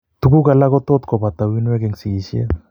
Tuguk alak ko tot kobata uinwek en sigishet